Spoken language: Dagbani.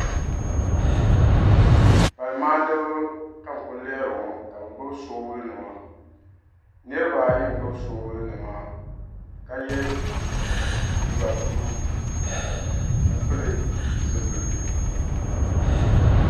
Pali maa ni ba ka n-kuli lihiri ŋɔ ka be gbubi soobulinima niriba ayi n-gbubi soobulinima ka ye liiga "blue" ka pili zipiliti.